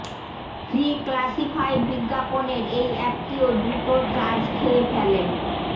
free classified বিজ্ঞাপনের এই অ্যাপটিও দ্রুত চার্জ খেয়ে ফেলে